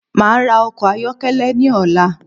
Máa ra ọkọ̀ ayọ́kẹ́lẹ́ ní ọ̀la